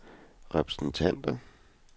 repræsentanter